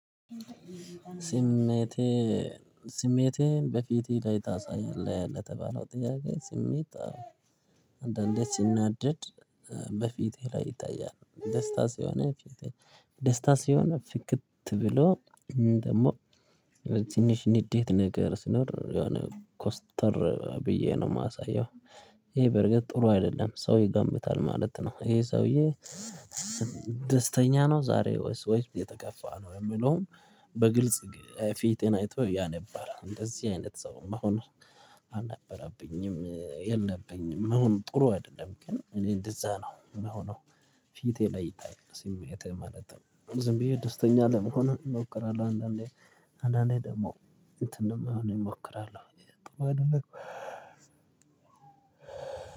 ስሜትህን በፊትህ ላይ ታሳያለህ ለተባለው ጥያቄ? ስሜት አንዳንዴ ስናደድ በፊቴ ላይ ይታያል ደስታ ሲሆን ደስታ ሲሆን ፍክት ብሎ ደግሞ ትንሽ ንዴት ነገር ስኖር የሆነ ኮስተር ብዬ ነው የማሳየው። ይሄ በርግጥ ጥሩ አይደለም ሰው ይገምታል ማለት ነው። ይሄ ሰውዬ ደስተኛ ነው ዛሬ ወይስ ወይስ የተከፋ ነው የሚለውን በግልጽ ፊቴን አይቶ ያነባል። እንደዚህ አይነት ሰውም አሁን አልነበረብኝም። መሆኑ ጥሩ አይደለም። ግን እኔ እንደዛ ነው። ምን ሆኖ ፊቴ ላይ ይታያል ስሜቴ ማለት ነው። ዝም ብዬ ደስተኛ ለመሆን እሞክራለሁ አንዳንዴ አንዳንዴ ደግሞ እንትንም ለመሆን እሞክራለሁ። አይደለም